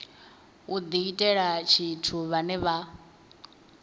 u diitela tshithu vhane vha